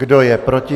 Kdo je proti?